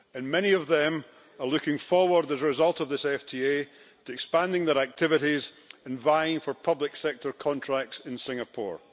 Many of them are looking forward, as a result of this FTA, to expanding their activities and vying for public sector contracts in Singapore.